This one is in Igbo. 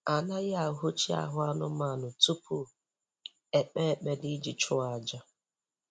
Anaghị ahụshị ahụ anụmanụ tupu ekpe ekpere iji chụọ aja